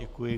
Děkuji.